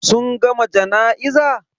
Sun gama jana'iza?